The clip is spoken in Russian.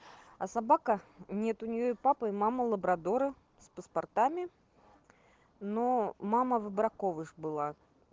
а собака нет у нее и папа и мама лабрадоры с паспортами но мама в браковых была